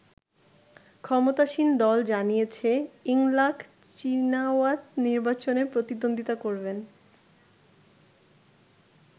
ক্ষমতাসীন দল জানিয়েছে ইংলাক চীনাওয়াত নির্বাচনে প্রতিদ্বন্দ্বিতা করবেন।